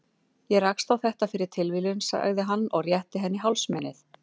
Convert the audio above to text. Ég rakst á þetta fyrir tilviljun, sagði hann og rétti henni hálsmenið.